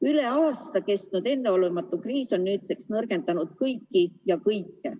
Üle aasta kestnud enneolematu kriis on nüüdseks nõrgendanud kõiki ja kõike.